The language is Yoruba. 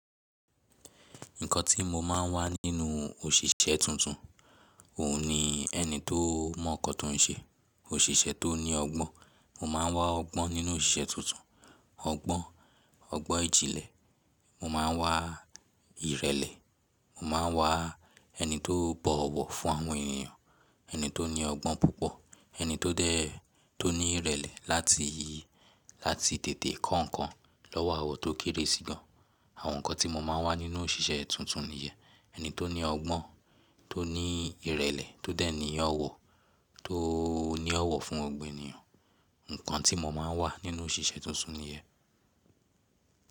Nǹkan tí mo máa ń wá nínú òṣìṣẹ́ tuntun, òun ni ẹni tó mọ̀ nkan tó ń ṣe, òṣìṣẹ́ tó ní ọgbọ́n. Mo máa ń wá ọgbọ́n nínú òṣìṣẹ́ tuntun, ọgbọ́n, ọgbọ́n ìjìnlẹ̀. Mo máa ń wá ìrẹ̀lẹ̀, mo máa ń wá ẹni tó bọ̀ ọ̀wọ̀ fún àwọn ènìyàn, ẹni tó ní ọgbọ́n púpọ̀, ẹni tó dé, tó ní ìrẹ̀lẹ̀ láti, láti tètè kọ́ ǹkan lọ́wọ́ àwọ̀n tó kéré sí gan. Àwọn nǹkan tí mo máa ń wá nínú òṣìṣẹ́ tuntun nìyẹn. Ẹni tó ní ọgbọ́n, tó ní ìrẹ̀lẹ̀, tó dé ní ọ̀wọ̀, tó ní ọ̀wọ̀ fún gbogbo ènìyàn. Nǹkan tí mo máa ń wá nínú òṣìṣẹ́ tuntun nìyẹn.